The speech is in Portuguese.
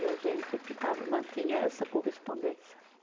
E a gente ficava, mantinha essa correspondência.